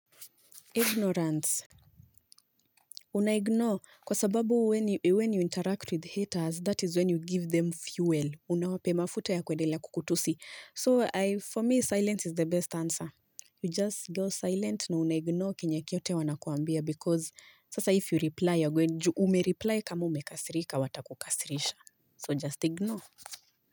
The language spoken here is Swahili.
Ignorance. Unaignore kwa sababu when you interact with haters that is when you give them fuel. Unawape mafuta ya kwendelea kukutusi. So for me silence is the best answer. You just go silent na unaignore kenye kiote wanakuambia because sasa if you reply ume reply kama umekasirika watakukasirisha. So just ignore.